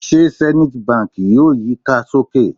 Ṣe Zenith Bank yoo yika soke?